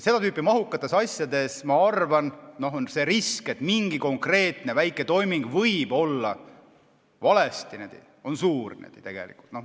Seda tüüpi mahukates asjades, ma arvan, on risk, et mingi konkreetne väike toiming võib olla läinud valesti, tegelikult suur.